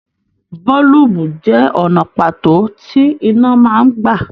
Boolubu jẹ ọnà pàtó tí iná máa n gbà.